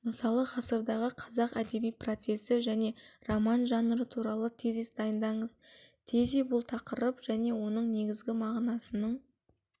мысалы ғасырдағы қазақ әдеби процесі және роман жанры туралы тезис дайындаңыз тези бұл тақырып және оның негізгі мағынасының